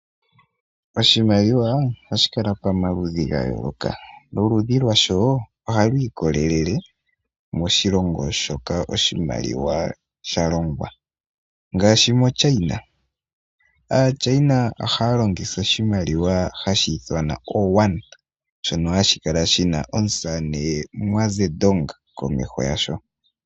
Oshimaliwa ohashi kala pamaludhi ga yooloka, noludhilwasho ohalu ikolelele moshilongo moka oshimaliwa sha longwa. Ngaashi moChina, aaChina ohaya longitha oshimaliwa hashi ithanwa ooYuan, shono hashi kala shina omusamane Muazedong komeho gasho.